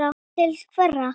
Til hverra?